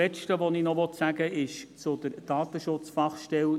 Zuletzt möchte ich noch etwas zur Datenschutzfachstelle sagen.